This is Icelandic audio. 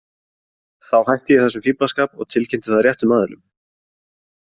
Þá hætti ég þessum fíflaskap og tilkynnti það réttum aðilum.